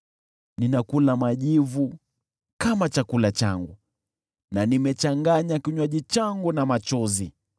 Ninakula majivu kama chakula changu na nimechanganya kinywaji changu na machozi